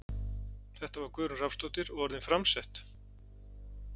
Þetta var Guðrún Rafnsdóttir og orðin framsett.